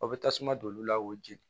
Aw bɛ tasuma don olu la o jeni